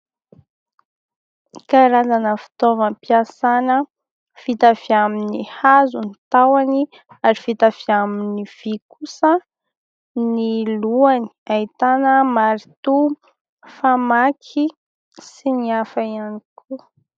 Karazana fitaovam-piasana vita avy amin'ny hazo ny tahony ary vita avy amin'ny vy kosa ny lohany ahitana maritoa, famaky sy ny hafa ihany koa.